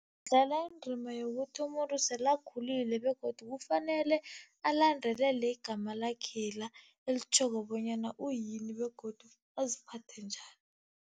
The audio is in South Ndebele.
Dlala indima yokuthi umuntu sele akhulile begodu kufanele alandelele igama lakhela, elitjhoko bonyana uyini begodu aziphathe njani.